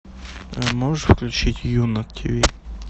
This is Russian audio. можешь включить ю на тиви